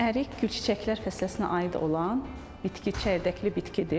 Ərik, gülçiçəklər fəsiləsinə aid olan bitki çəyirdəkli bitkidir.